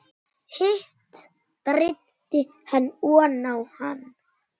Hitt breiddi hann oná hann.